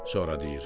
sonra deyir: